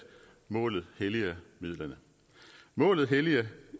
målet helliger midlet målet helliger